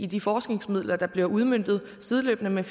de forskningsmidler der bliver udmøntet sideløbende med